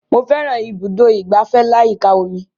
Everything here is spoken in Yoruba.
Mo fẹ́ran ibùdó ìgbafẹ́ aláyíká omi